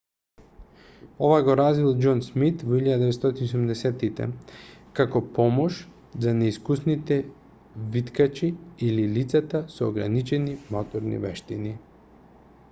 ова го развил џон смит во 1970-тите како помош за неискусните виткачи или лицата со ограничени моторни вештини